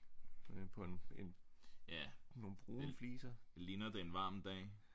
På en nogle brune fliser